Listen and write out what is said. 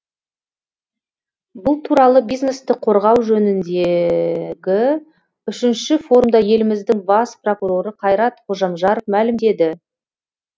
бұл туралы бизнесті қорғау жөніндегі үшінші форумда еліміздің бас прокуроры қайрат қожамжаров мәлімдеді